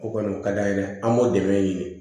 O kɔni o ka d'an ye dɛ an b'o dɛmɛ ɲini